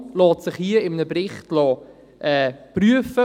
Die Situation lässt sich in einem Bericht prüfen.